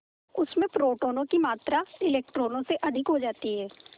उसमें प्रोटोनों की मात्रा इलेक्ट्रॉनों से अधिक हो जाती है